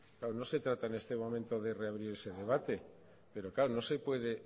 claro no se trata en este momento de reabrir ese debate pero claro no se puede